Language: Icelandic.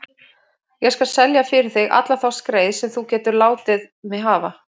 Ég skal selja fyrir þig alla þá skreið sem þú getur látið mig hafa.